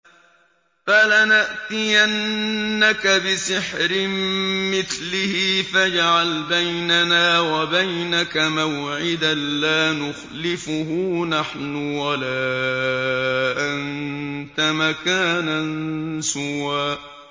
فَلَنَأْتِيَنَّكَ بِسِحْرٍ مِّثْلِهِ فَاجْعَلْ بَيْنَنَا وَبَيْنَكَ مَوْعِدًا لَّا نُخْلِفُهُ نَحْنُ وَلَا أَنتَ مَكَانًا سُوًى